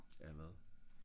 af hvad?